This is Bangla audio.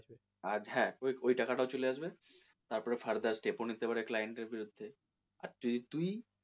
আর হ্যাঁ ওই ওই টাকা টাও চলে আসবে তারপর further step ও নিতে পারবি client এর বিরুদ্ধে আর তুই,